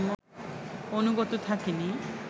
অনুগত থাকিনি